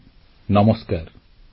• ପ୍ରଭାବିତଙ୍କ ପଛରେ 125 କୋଟି ଭାରତୀୟ